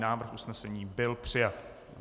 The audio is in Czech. Návrh usnesení byl přijat.